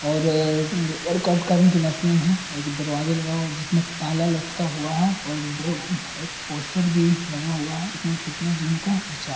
और वर्कआउट करने की मशीन है एक दरवाज़ा लगा हुआ है जिसमे ताला लटका हुआ है और दो एक पोस्टर भी लगा हुआ है जिसमे फिटनेस जिम का प्रचार--